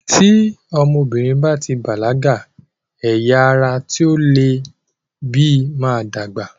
Tí ọmọbìnrin báti bàlágà, ẹyà ara tí ó leè bí máa ń dàgbà.